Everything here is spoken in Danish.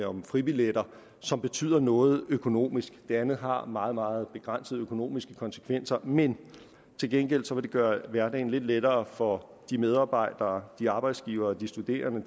om fribilletter som betyder noget økonomisk det andet har meget meget begrænsede økonomiske konsekvenser men til gengæld vil det gøre hverdagen lidt lettere for de medarbejdere arbejdsgivere studerende